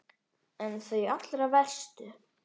En þau allra verstu?